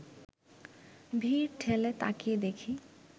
ভিড় ঠেলে তাকিয়ে দেখি